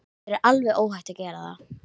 Þér er alveg óhætt að gera það!